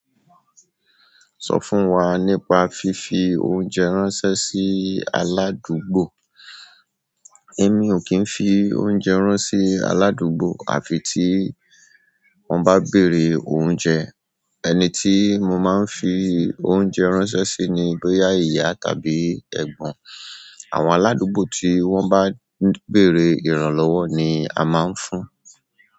Sọ fún wa nípa fífi oúnjẹ ránṣẹ́ sí aládùúgbò? Èmi ò kí ń fi oúnjẹ rán sí aládùúgbò àfi tí wọ́n bá béèrè oúnjẹ. Ẹni ti mo ma nfi oúnjẹ ránṣẹ́ si ni boya iya tàbí egbon. Àwọn aládùúgbò tí wọ́n bá béèrè ìrànlọ́wọ́ ni a máa ń fún.